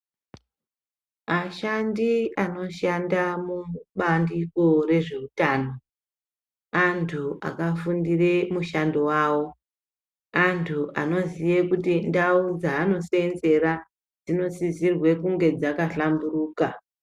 Ashandi anoshanda mubandiko rezvehutano antu akafundira mushando wawo . Antu anoziva kuti ndau dzanosenzera dzinosisirwe kunge dzakahlamburuka.